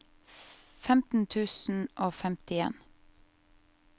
femten tusen og femtien